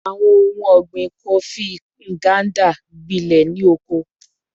Awọn ohun ọgbin Kofi Nganda gbilẹ ni oko